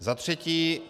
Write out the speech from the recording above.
Za třetí.